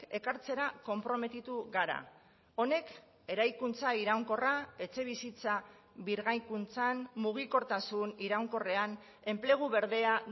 ekartzera konprometitu gara honek eraikuntza iraunkorra etxebizitza birgaikuntzan mugikortasun iraunkorrean enplegu berdea